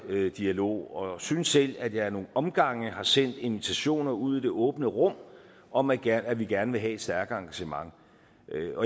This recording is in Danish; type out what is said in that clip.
dialog og synes selv at jeg ad nogle omgange har sendt invitationer ud i det åbne rum om at at vi gerne vil have et stærkere engagement